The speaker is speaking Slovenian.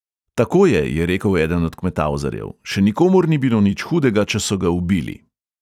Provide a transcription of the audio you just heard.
"Tako je," je rekel eden od kmetavzarjev, "še nikomur ni bilo nič hudega, če so ga ubili."